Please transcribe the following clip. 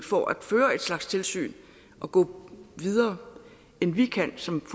for at føre et slags tilsyn og gå videre end vi kan som